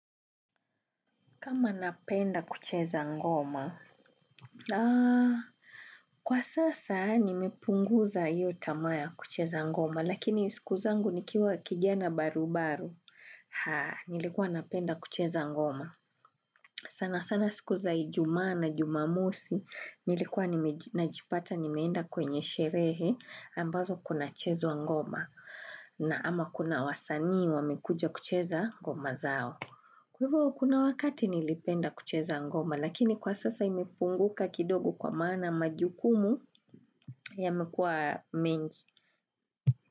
Kama napenda kucheza ngoma? Kwa sasa nimepunguza hiyo taama ya kucheza ngoma, lakini siku zangu nikiwa kijana barubaru, nilikuwa napenda kucheza ngoma. Sana sana siku za ijumaa na jumamosi, nilikuwa najipata nimeenda kwenye sherehe ambazo kunachezwa ngoma, na ama kuna wasani wamekuja kucheza ngoma zao. Kwa hivyo, kuna wakati nilipenda kucheza ngoma, lakini kwa sasa imepunguka kidogo kwa maana majukumu yamekuwa mengi.